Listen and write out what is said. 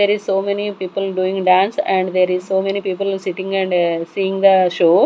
there is so many people doing dance and there is so many people sitting and seeing the show.